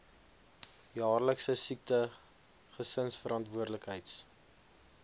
jaarlikse siekte gesinsverantwoordelikheids